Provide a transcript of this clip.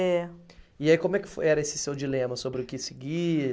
É. E aí como é que fo, era esse seu dilema sobre o que seguir?